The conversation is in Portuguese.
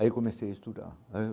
Aí comecei a estudar.